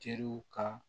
Teriw ka